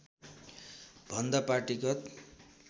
भन्दा पार्टीगत